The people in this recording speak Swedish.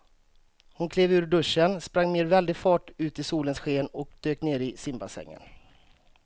Hon klev ur duschen, sprang med väldig fart ut i solens sken och dök ner i simbassängen.